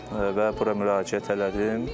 Və bura müraciət elədim.